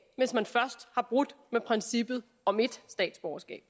hvis man først har brudt med princippet om ét statsborgerskab